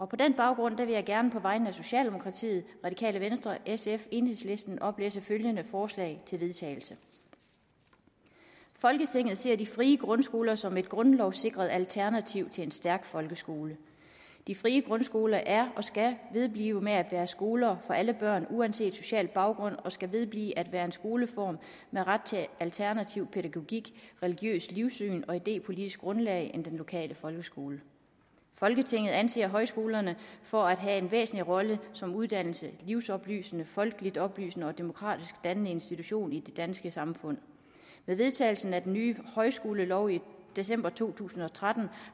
på den baggrund vil jeg gerne på vegne af socialdemokratiet radikale venstre sf og enhedslisten oplæse følgende forslag til vedtagelse folketinget ser de frie grundskoler som et grundlovssikret alternativ til en stærk folkeskole de frie grundskoler er og skal vedblive med at være skoler for alle børn uanset social baggrund og skal vedblive at være en skoleform med ret til alternativ pædagogik religiøst livssyn og idépolitisk grundlag i den lokale folkeskole folketinget anser højskolerne for at have en væsentlig rolle som uddannende livsoplysende folkeligt oplysende og demokratisk dannende institution i det danske samfund med vedtagelsen af den nye højskolelov i december to tusind og tretten